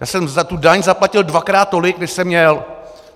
Já jsem za tu daň zaplatil dvakrát tolik, než jsem měl.